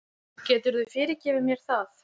Geturðu fyrirgefið mér það?